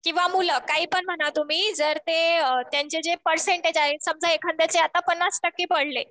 किंवा मुलं काहीपण म्हणा तुम्ही. जर ते त्यांचे जे पर्सेंटेज आहेत. समजा एखाद्याचे आता पन्नास टक्के पडले.